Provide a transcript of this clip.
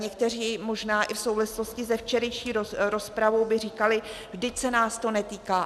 Někteří možná i v souvislosti se včerejší rozpravou by říkali, vždyť se nás to netýká.